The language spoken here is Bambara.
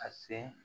A sen